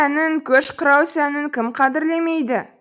әнін көш құрау сәнін кім қадірлемейді